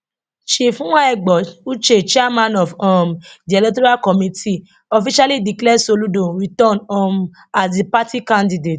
chief nwaegbo uche chairman of um di electoral committee officially declare soludo returned um as di party candidate